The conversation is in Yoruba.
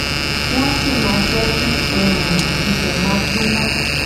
wón sì máa jé kí òórùn ibè máa gbóná